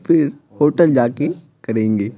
फिर होटल जाके करेंगे--